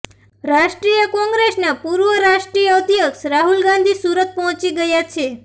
રાષ્ટ્રીય કોંગ્રેસના પૂર્વ રાષ્ટ્રીય અધ્યક્ષ રાહુલ ગાંધી સુરત પહોંચી ગયા છે